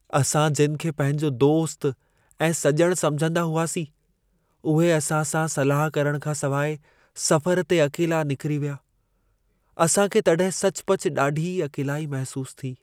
असां जिन खे पंहिंजो दोस्त ऐं सॼण समिझंदा हुआसीं, उहे असां सां सलाह करणु खां सवाइ सफ़रु ते अकेला निकिरी विया। असां खे तॾहिं सचुपचु ॾाढी अकेलाई महिसूसु थी।